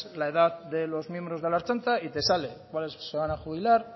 la edad de los miembros de la ertzaintza y te sale cuáles se van a jubilar